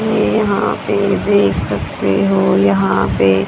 ये यहां पे देख सकते हो यहां पे--